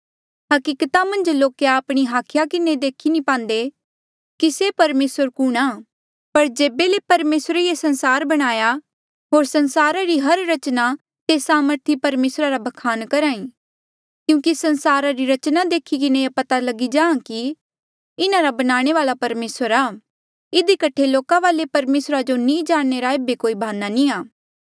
हकीकता मन्झ लोक आपणी हाखिया किन्हें नी देखी पांदे कि से परमेसर कुणहां पर जेबे ले परमेसरे ये संसार बणाया होर संसारा री हर रचना तेस सामर्थी परमेसरा रा ब्खान करहा ई क्यूंकि संसारा री रचना देखी किन्हें ये पता चल्हा कि इन्हारा बनाणे वाल्आ परमेसर आ इधी कठे लोका वाले परमेसरा जो नी जाणने रा एेबे कोई भाना नी आ